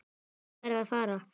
Ég verð að fara.